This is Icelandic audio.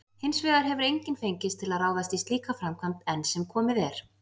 Hins vegar hefur enginn fengist til að ráðast í slíka framkvæmd enn sem komið er.